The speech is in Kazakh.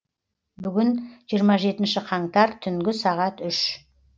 бүгін жиырма жетінші қаңтар түнгі сағат үш